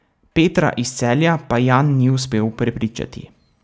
Petra iz Celja pa Jan ni uspel prepričati.